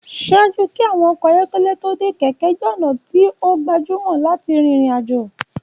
Ṣaaju kí àwọn ọkọ́ ayọkẹlẹ tó dé, kẹ̀kẹ́ jẹ́ ọ̀nà tí o gbajumọ láti rìn ìrìn àjò.